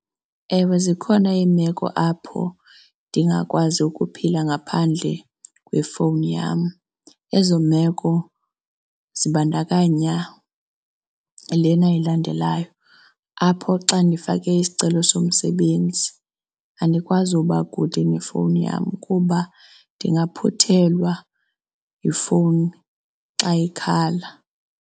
Ewe, zikhona iimeko apho ndingakwazi ukuphila ngaphandle kwefowuni yam. Ezo meko zibandakanya lena ilandelayo yayo apho xa ndifake isicelo somsebenzi andikwazi uba kude nefowuni yam kuba ndingaphuthelwa yifowuni xa ikhala.